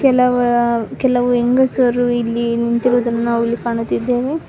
ಕೆಲವ ಕೆಲವು ಹೆಂಗಸರು ಇಲ್ಲಿ ನಿಂತಿರುವುದನ್ನು ನಾವು ಇಲ್ಲಿ ಕಾಣುತ್ತಿದ್ದೇವೆ.